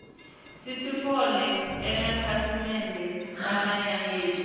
sitfole emakhasimende lamanyenti